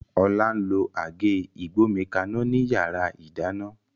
Ola n lo Àgé ìgbómikaná ni yàrá ìdáná